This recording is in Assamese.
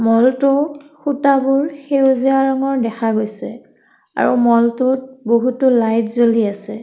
ম'ল টোৰ খুঁটাবোৰ সেউজীয়া ৰঙৰ দেখা গৈছে আৰু ম'ল টোত বহুতো লাইট জ্বলি আছে।